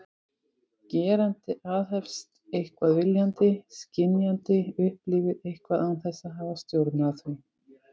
Gerandi aðhefst eitthvað viljandi, skynjandi upplifir eitthvað án þess að hafa stjórn á því.